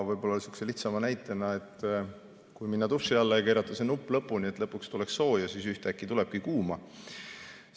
Võib-olla lihtsa näitena, et kui minna duši alla ja keerata nupp lõpuni, et lõpuks tuleks sooja vett, siis ühtäkki tulebki kuuma vett.